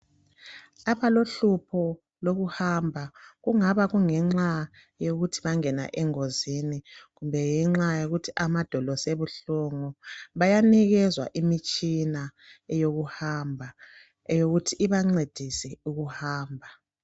Abalohlupho lokuhamba kungaba kungenxa yokuthi bangena engozini kumbe ngenxa yokuthi amadolo sebuhlungu bayanikezwa imitshina yokuhamba eyokuthi ibancedise ukuhamba.